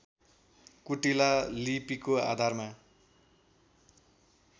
कुटिला लिपिको आधारमा